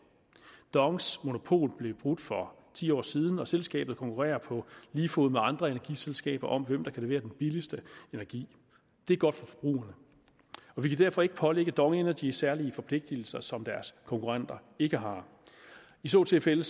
dongs monopol blev brudt for ti år siden og selskabet konkurrerer på lige fod med andre energiselskaber om hvem der kan levere den billigste energi det er godt for forbrugerne og vi kan derfor ikke pålægge dong energy særlige forpligtelser som deres konkurrenter ikke har i så tilfælde